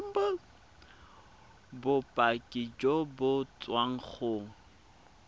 bopaki jo bo tswang go